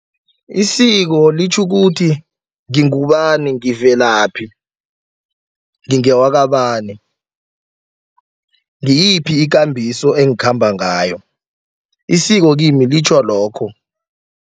Isiko litjho ukuthi ngingubani ngivelaphi ngingewakabani ngiyiphi ikambiso engakhamba ngayo, isiko kimi litjho lokho.